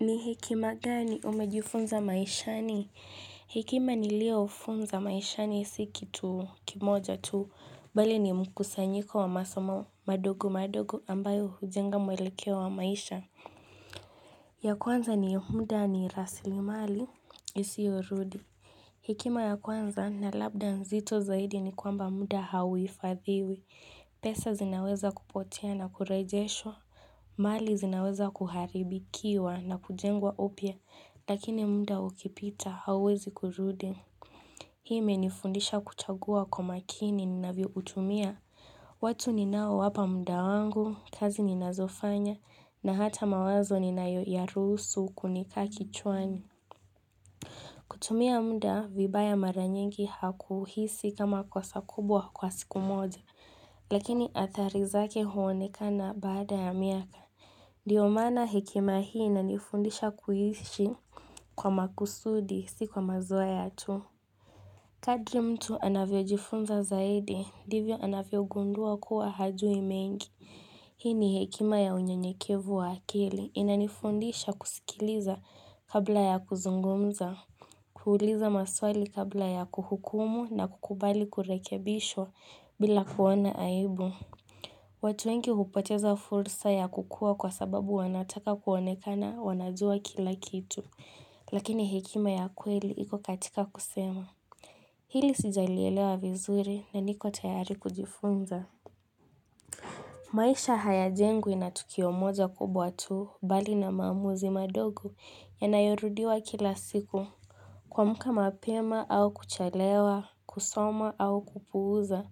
Ni hekima gani umejifunza maishani? Hekima niliyojifunza maishani si kitu kimoja tu, bali ni mkusanyiko wa masomo madogo madogo ambayo hujenga mwelekeo wa maisha ya kwanza ni muda ni raslimali isiyorudi Hekima ya kwanza na labda nzito zaidi ni kwamba muda hauhifadhiwi, pesa zinaweza kupotea na kurejeshwa mali zinaweza kuharibikiwa na kujengwa upya, lakini muda ukipita hauwezi kurudi. Hii imenifundisha kuchagua kwa makini ninavyoutumia. Watu ninaowapa muda wangu, kazi ninazofanya, na hata mawazo ninayoyaruhusu kunikaa kichwani. Kutumia muda vibaya mara nyingi hakuhisi kama kosa kubwa kwa siku moja, lakini athari zake huonekana baada ya miaka. Ndio maana hekima hii inanifundisha kuishi kwa makusudi si kwa mazoea tu Kadri mtu anavyojifunza zaidi ndivyo anavyogundua kuwa hajui mengi hii ni hekima ya unyenyekevu wa akili inanifundisha kusikiliza kabla ya kuzungumza kuuliza maswali kabla ya kuhukumu na kukubali kurekebishwa bila kuona aibu watu wengi hupoteza fursa ya kukua kwa sababu wanataka kuonekana wanajua kila kitu. Lakini hekima ya kweli iko katika kusema. Hili sijalielewa vizuri na niko tayari kujifunza. Maisha hayajengwi na tukio moja kubwa tu bali na maamuzi madogo yanayorudiwa kila siku. Kuamka mapema au kuchelewa, kusoma au kupuuza,